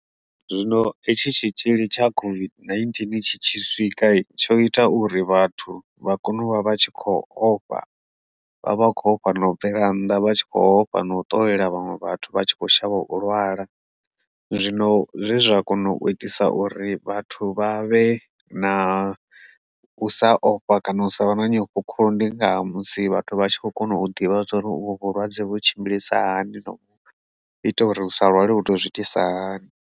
Zwino hetshi tshitzhili tsha COVID-19 tshi tshi swika tsho ita uri vhathu vha kone u vha vha tshi khou ofha vha vha khou ofha na u bvela nnḓa vha tshi kho ofha no tou yela vhaṅwe vhathu vha tshi kho shavha u lwala, zwino zwezwa kona u itisa uri vhathu vha vhe na sa ofha kana u sa vha na nyofho Khulu ndi nga musi vhathu vha tshi kho kona u ḓivha zwa uri uvho vhulwadze vhu tshimbilisa hani no ita uri u sa lwale vho to zwi itisa hani.